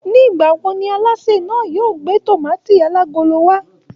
Nigbawo ni àlásè náà yóò gbé tomaati alagolo wa?